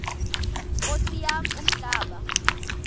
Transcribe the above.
nkosi yam umhlaba